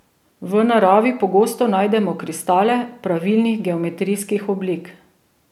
V naravi pogosto najdemo kristale pravilnih geometrijskih oblik.